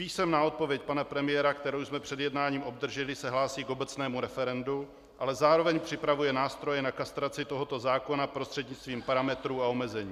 Písemná odpověď pana premiéra, kterou jsme před jednáním obdrželi, se hlásí k obecnému referendu, ale zároveň připravuje nástroje na kastraci tohoto zákona prostřednictvím parametrů a omezení.